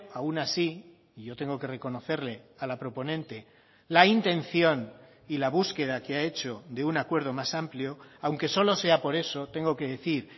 aun así y yo tengo que reconocerle a la proponente la intención y la búsqueda que ha hecho de un acuerdo más amplio aunque solo sea por eso tengo que decir